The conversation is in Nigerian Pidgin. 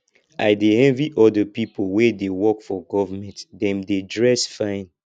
i dey envy all the people wey dey work for government dem dey dress fine